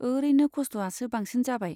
ओरैनो खस्थ'आसो बांसिन जाबाय।